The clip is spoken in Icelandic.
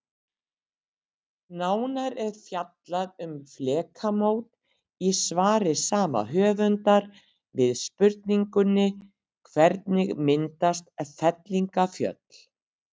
Nánar er fjallað um flekamót í svari sama höfundar við spurningunni Hvernig myndast fellingafjöll?